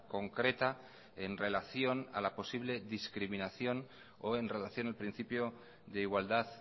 concreta en relación a la posible discriminación o en relación al principio de igualdad